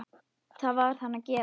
Það varð hann að gera.